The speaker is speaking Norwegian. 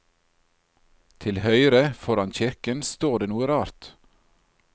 Til høyre foran kirken står det noe rart.